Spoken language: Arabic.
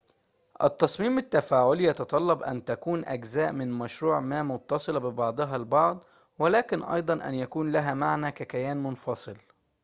التصميم التفاعلي يتطلب أن تكون أجزاء من مشروع ما متصلة ببعضها البعض ولكن أيضاً أن يكون لها معنى ككيان منفصل